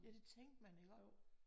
Ja det tænkte man iggå